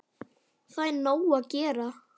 Það er nóg að gera.